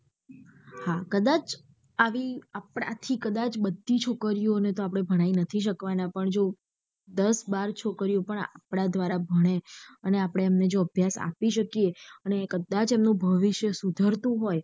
હા કદાચ આવી આપડા આખી કદાચ બધી છોકરીયો ને તો ભણાઈ નથી શકવાના પણ જો દાસ બાર છોકરીયો પણ આપડા દ્વારા ભણે અને આપડે એમને જો અભ્યાસ આપી શકીયે અને કદાચ એમનું ભવિષ્ય સુધરતું હોય.